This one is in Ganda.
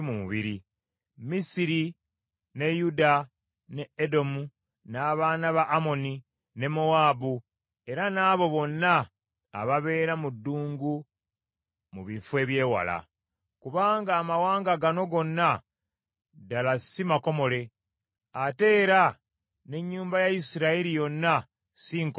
Misiri, ne Yuda, ne Edomu, n’abaana ba Amoni, ne Mowaabu, era n’abo bonna ababeera mu ddungu mu bifo eby’ewala. Kubanga amawanga gano gonna ddala si makomole, ate era n’ennyumba ya Isirayiri yonna si nkomole mu mutima.”